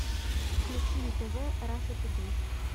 включи на тв раша тудей